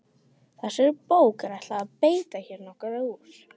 Þessari bók er ætlað að bæta hér nokkuð úr.